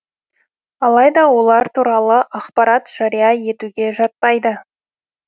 алайда олар туралы ақпарат жария етуге жатпайды